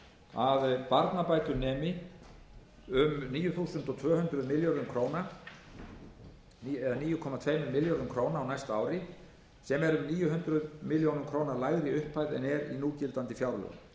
að barnabætur nemi um níu komma tveimur milljörðum króna á næsta ári sem er um níu hundruð milljóna króna lægri upphæð en er í núgildandi fjárlögum